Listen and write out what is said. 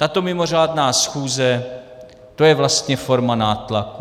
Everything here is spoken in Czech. Tato mimořádná schůze, to je vlastně forma nátlaku.